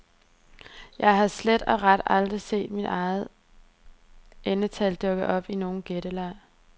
Jeg har slet og ret aldrig set mit eget endetal dukke op i nogen gætteleg.